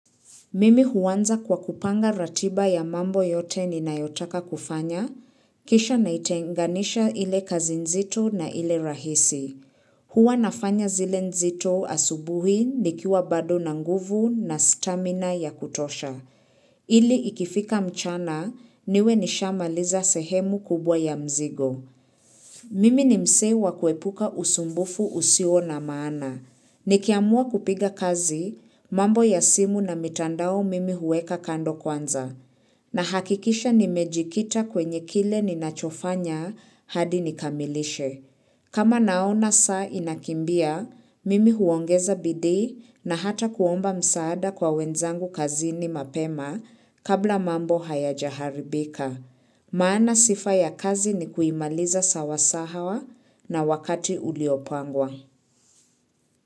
Mimi huwanza kwa kupanga ratiba ya mambo yote ninayotaka kufanya, kisha naitenganisha ile kazi nzito na ile rahisi. Hua nafanya zile nzito asubuhi ni kiwa bado na nguvu na stamina ya kutosha. Ili ikifika mchana niwe nishamaliza sehemu kubwa ya mzigo. Mimi ni mzee wa kuepuka usumbufu usio na maana. Ni kiamua kupiga kazi, mambo ya simu na mitandao mimi huweka kando kwanza. Na hakikisha ni mejikita kwenye kile ninachofanya hadi nikamilishe. Kama naona saa inakimbia, mimi huongeza bidi na hata kuomba msaada kwa wenzangu kazini mapema kabla mambo hayajaharibika. Maana sifa ya kazi ni kuimaliza sawasawa na wakati uliopangwa.